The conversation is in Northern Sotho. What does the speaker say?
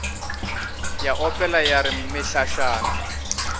ya opela ya re mehlašana